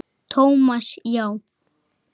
Thomas, já.